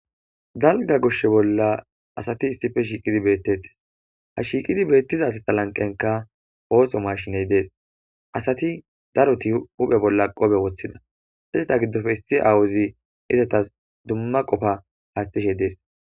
Dalga goshshe bolla asati issife shiiqidi beettetes ha shiiqidi beettiza sta lanqenka ooso mashiney dees asati daroti huphe bolla qobe woththida izata giddofe issi awuzi izatas dumma qofa haastishe dees.